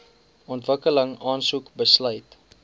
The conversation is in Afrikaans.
ontwikkeling aansoek besluit